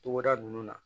Togoda nunnu na